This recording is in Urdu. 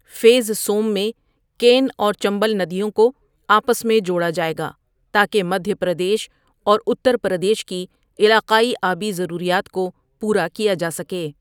فیز سوم میں، کین اور چمبل ندیوں کو آپس میں جوڑا جائے گا تاکہ مدھیہ پردیش اور اتر پردیش کی علاقائی آبی ضروریات کو پورا کیا جا سکے۔